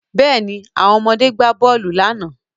Yes, the children played the ball yesterday